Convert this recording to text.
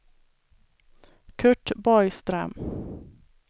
Curt Borgström